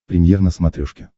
премьер на смотрешке